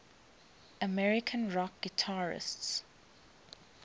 american rock guitarists